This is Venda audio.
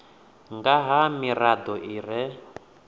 nga ha mirado i re